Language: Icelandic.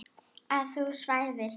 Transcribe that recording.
Að þú svæfir hjá.